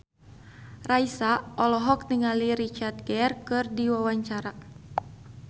Raisa olohok ningali Richard Gere keur diwawancara